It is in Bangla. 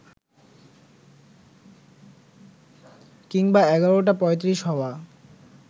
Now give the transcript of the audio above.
কিংবা এগারোটা পঁয়ত্রিশ হওয়া